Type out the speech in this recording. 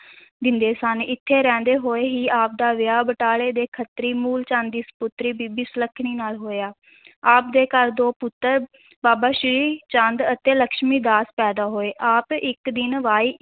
ਦਿੰਦੇ ਸਨ, ਇੱਥੇ ਰਹਿੰਦੇ ਹੋਏ ਹੀ ਆਪ ਦਾ ਵਿਆਹ ਬਟਾਲੇ ਦੇ ਖੱਤਰੀ ਮੂਲ ਚੰਦ ਦੀ ਸਪੁੱਤਰੀ ਬੀਬੀ ਸੁਲੱਖਣੀ ਨਾਲ ਹੋਇਆ ਆਪ ਦੇ ਘਰ ਦੋ ਪੁੱਤਰ ਬਾਬਾ ਸ੍ਰੀ ਚੰਦ ਅਤੇ ਲੱਖਮੀ ਦਾਸ ਪੈਦਾ ਹੋਏ, ਆਪ ਇਕ ਦਿਨ ਵੇਈਂ